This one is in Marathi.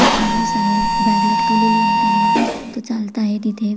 एक माणुस आहे बॅग लटकवलेली आहे त्यानी तो चालत आहे तिथे.